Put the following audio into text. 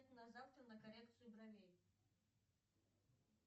на завтра на коррекцию бровей